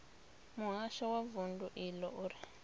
muhasho wa vundu iḽo uri